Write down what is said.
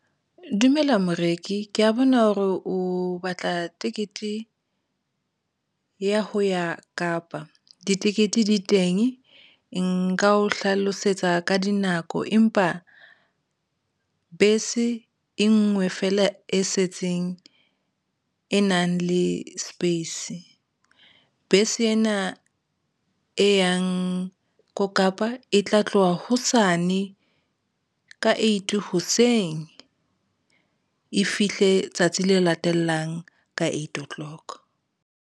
Dumela moreki ke ya bona hore o batla tekete ya ho ya Kapa ditekete di teng. Nka o hlalosetsa ka dinako, empa bese e nngwe feela e setseng e nang le space bese ena e yang ko Kapa e tla tloha hosane ka eight hoseng e fihle tsatsi le latelang ka eight o'clock.